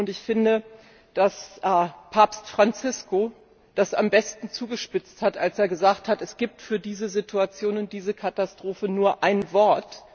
Ich finde, dass Papst Franziskus das am besten zugespitzt hat, als er sagte Es gibt für diese Situation und diese Katastrophe nur ein Wort.